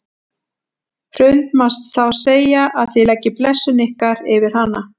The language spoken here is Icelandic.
Hrund: Má þá segja að þið leggið blessun ykkar yfir hana?